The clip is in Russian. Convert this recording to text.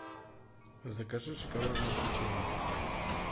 закажи шоколадное печенье